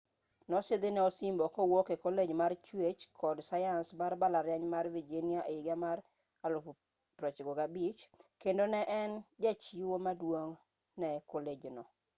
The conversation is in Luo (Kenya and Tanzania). nosidhne osimbo kowuok e kolej mar chuech kod sayans mar mbalariany mar virginia e higa mar 1950 kendo ne en jachiwo maduong ne kolej no